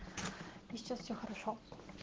и сейчас все хорошо